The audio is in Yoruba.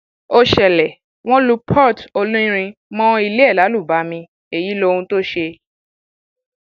ó ṣẹlẹ wọn lu port olórin mọ ilé ẹ lálùbami èyí lohun tó ṣe